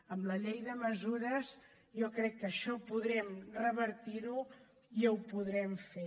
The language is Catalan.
amb la llei de mesures jo crec que això podem revertir ho i ho podrem fer